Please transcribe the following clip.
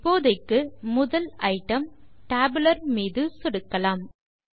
இப்போதைக்கு முதல் item tabular மீது சொடுக்கலாம்